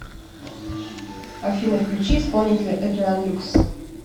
афина включи исполнителя эдриан люкс